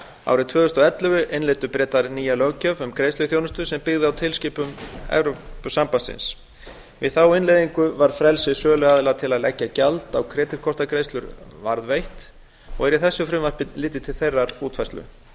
árið tvö þúsund og ellefu innleiddu bretar nýja löggjöf um greiðsluþjónustu sem byggði á tilskipun evrópusambandsins við innleiðingu var frelsi söluaðila til að leggja gjald á kreditkortagreiðslur varðveitt og er í þessu frumvarpi litið til þeirrar útfærslu